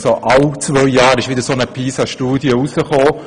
Alle zwei Jahre wurde wieder eine Pisa-Studie veröffentlicht.